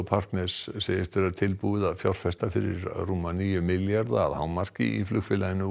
partners segist vera tilbúið að fjárfesta fyrir rúma níu milljarða að hámarki í flugfélaginu